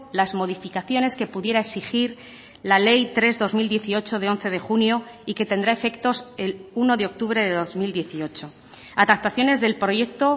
las modificaciones que pudiera exigir la ley tres barra dos mil dieciocho de once de junio y que tendrá efectos el uno de octubre de dos mil dieciocho adaptaciones del proyecto